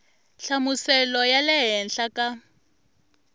nhlamuselo ya le henhla ka